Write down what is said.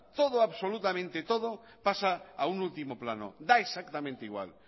todo absolutamente todo pasa a un último plano da exactamente igual